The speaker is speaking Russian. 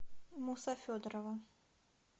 муса федорова